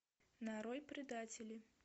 нарой предатели